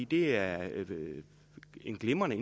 det er glimrende